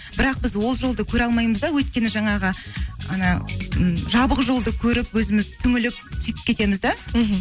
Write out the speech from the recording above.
бірақ біз ол жолды көре алмаймыз да өйткені жаңағы анау м жабық жолды көріп өзіміз түңіліп сөйтіп кетеміз де мхм